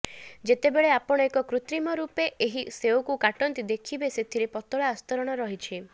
ଯେତେବେଳେ ଆପଣ ଏକ କୃତ୍ରିମ ରୂପେ ଏହି ସେଓକୁ କାଟନ୍ତି ଦେଖିବେ ସେଥିରେ ପତଳା ଆସ୍ତରଣ ରହିଛି